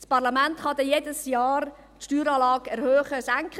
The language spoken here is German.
Das Parlament kann dann jedes Jahr die Steueranlage erhöhen oder senken;